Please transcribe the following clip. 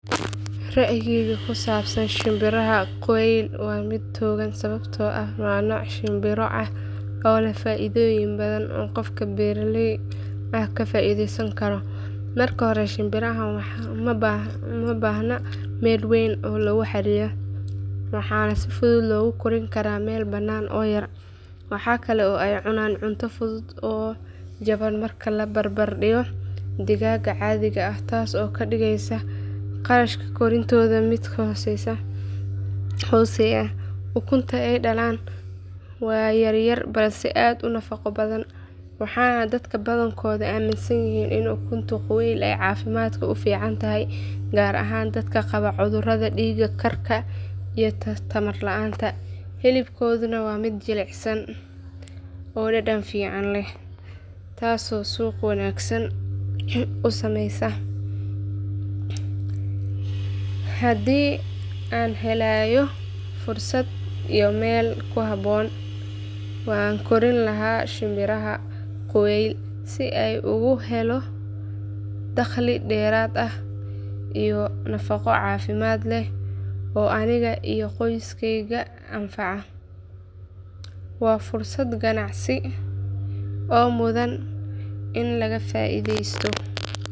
Ra’yigayga ku saabsan shimbiraha quail waa mid togan sababtoo ah waa nooc shimbiro ah oo leh faa’iidooyin badan oo qof beeraley ah ka faa’iideysan karo. Marka hore shimbirahan ma baahna meel weyn oo lagu xareeyo waxaana si fudud loogu kori karaa meel bannaan oo yar. Waxa kale oo ay cunaan cunto fudud oo jaban marka la barbar dhigo digaagga caadiga ah taasoo ka dhigeysa kharashka koriintooda mid hooseeya. Ukunta ay dhalaan waa yar yar balse aad u nafaqo badan waxaana dadka badankoodu aamminsan yihiin in ukunta quail ay caafimaadka u fiican tahay gaar ahaan dadka qaba cudurrada dhiig karka iyo tamar la’aanta. Hilibkooduna waa mid jilicsan oo dhadhan fiican leh taasoo suuq wanaagsan u sameysa. Haddii aan helayo fursad iyo meel ku habboon waan kori lahaa shimbiraha quail si aan uga helo dakhli dheeraad ah iyo nafaqo caafimaad leh oo aniga iyo qoyskeyga anfaca. Waa fursad ganacsi oo mudan in laga faa’iideysto.